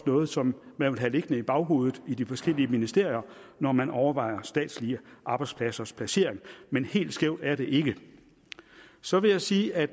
noget som man vil have liggende i baghovedet i de forskellige ministerier når man overvejer statslige arbejdspladsers placering men helt skævt er det ikke så vil jeg sige at